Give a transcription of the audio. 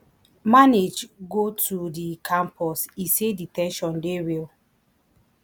manage go to di campus e say di ten sion dey real